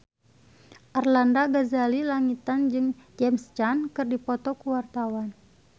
Arlanda Ghazali Langitan jeung James Caan keur dipoto ku wartawan